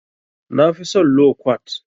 Na fi son lo kwat.